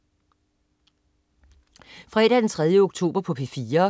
Fredag den 3. oktober - P4: